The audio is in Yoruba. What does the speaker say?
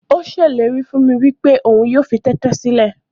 Ó ṣèlérí fún mi wípé òun yóò fi tẹ́tẹ́ sílẹ̀.